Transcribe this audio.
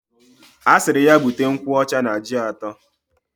Asiri ya buta nkwa Ọcha na ji ato.